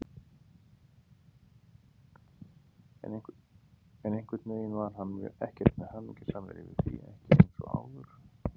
En einhvern veginn var hann ekkert mjög hamingjusamur yfir því, ekki eins og áður.